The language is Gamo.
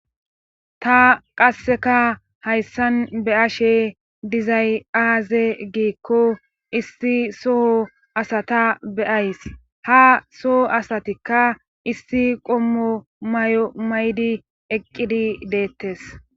Ta qasseka hayssan be ashe dizay aaze giikko isti soho asata beyays ha soho asatikka isti qommo may7o maydi eqqidi deettes